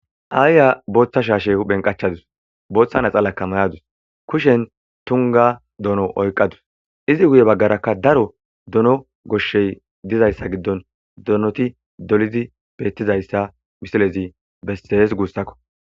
Aayya booththa shaashe benqachadus booththa naxalakka mayadus kushen tunga dono oyqqadus izi guye baggaraka daro dono goshshey dizayssa giddon donoti dolidi beettizayssa misilezi bestees guussakko.